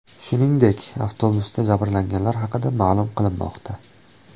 Shuningdek, avtobusdagi jabrlanganlar haqida ma’lum qilinmoqda.